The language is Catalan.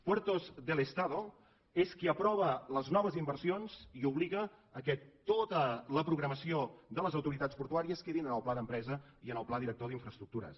puertos del estado és qui aprova les noves inversions i obliga que tota la programació de les autoritats portuàries quedin en el pla d’empresa i en el pla director d’infraestructures